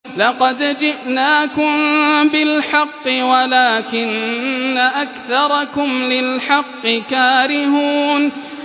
لَقَدْ جِئْنَاكُم بِالْحَقِّ وَلَٰكِنَّ أَكْثَرَكُمْ لِلْحَقِّ كَارِهُونَ